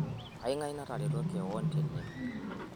kangae natereto keion tene